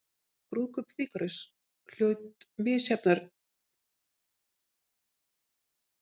Brúðkaup Fígarós hlaut misjafnar viðtökur í Vínarborg og fyrsta árið urðu sýningar aðeins níu.